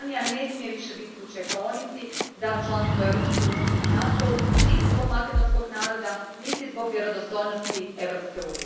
Makedonija ne smije više biti u čekaonici za članstvo u Europskoj uniji i NATO u niti zbog makedonskog naroda niti zbog vjerodostojnosti EU a.